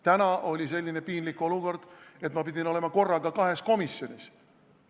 Täna oli selline piinlik olukord, et ma pidin olema korraga kahes komisjonis.